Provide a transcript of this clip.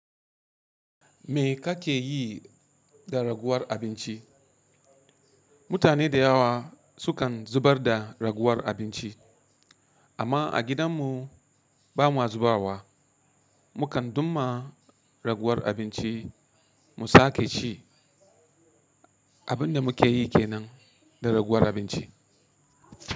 Me ka ke yi da raguwar abinci? Mutane da yawa, sukan zubar da raguwar abinci amma a gidanmu ba mu zuba wa. Mu kan duma raguwar abinci, mu sake ci. Abin da mu ke yi ke nan, da raguwar abinci.